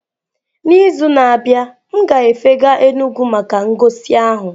N'izu na-abịa, m ga-efega Enugwu maka ngosi ahụ.